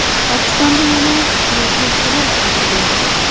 Pokistonda yana kuchli zilzila sodir bo‘ldi.